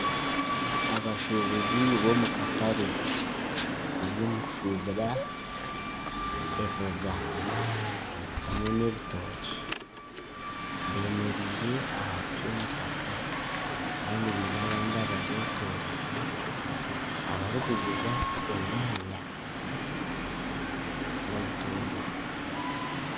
Abashuubuzi b'omu katare bari omu kushuubura emboga hamwe n'ebitookye. Bemereire ahansi y'omutaka kandi baine abandi ababetoroire barikuguza enyaanya n'obutunguru.